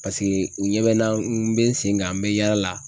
Paseke u ɲɛ bɛ n na n bɛ n sen kan n bɛ yaala la.